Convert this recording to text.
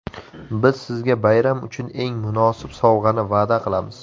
Biz sizga bayram uchun eng munosib sovg‘ani va’da qilamiz.